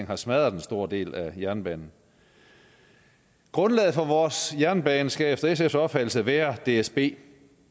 har smadret en stor del af jernbanen grundlaget for vores jernbane skal efter sfs opfattelse være dsb